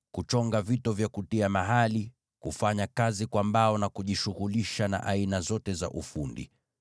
kuchonga vito na kuvitia mahali, kufanya ufundi kwa mbao, na kujishughulisha na aina zote za ufundi.